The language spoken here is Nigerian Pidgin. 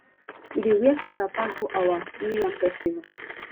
we dey wear fine wrapper go our new yam festival